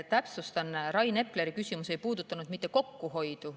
Täpsustan: Rain Epleri küsimus ei puudutanud kokkuhoidu.